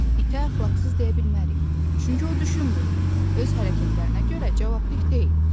İtə əxlaqsız deyə bilmərik, çünki o düşünmür, öz hərəkətlərinə görə cavabdeh deyil.